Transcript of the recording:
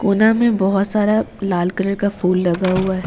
में बहुत सारा लाल कलर का फूल लगा हुआ है।